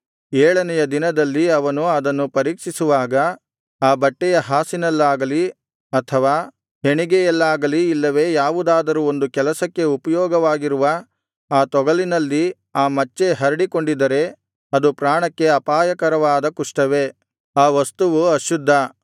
ಏಳನೆಯ ದಿನದಲ್ಲಿ ಅವನು ಅದನ್ನು ಪರೀಕ್ಷಿಸುವಾಗ ಆ ಬಟ್ಟೆಯ ಹಾಸಿನಲ್ಲಾಗಲಿ ಅಥವಾ ಹೆಣಿಗೆಯಲ್ಲಾಗಲಿ ಇಲ್ಲವೆ ಯಾವುದಾದರೂ ಒಂದು ಕೆಲಸಕ್ಕೆ ಉಪಯೋಗವಾಗಿರುವ ಆ ತೊಗಲಿನಲ್ಲಿ ಆ ಮಚ್ಚೆ ಹರಡಿಕೊಂಡಿದ್ದರೆ ಅದು ಪ್ರಾಣಕ್ಕೆ ಅಪಾಯಕರವಾದ ಕುಷ್ಠವೇ ಆ ವಸ್ತುವು ಅಶುದ್ಧ